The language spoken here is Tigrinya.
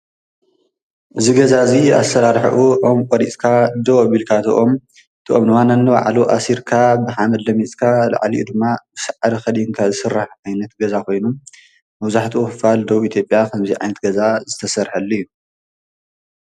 እዚ ገዛ እዚ ካብ ጉንድን ሳዕር ብምቅንጃው ዝስራሕ ኮይኑ ጎጆ ዝበሃል ኮይኑ ኣብ ደቡብ ኢትዮጵያ ይርከብ።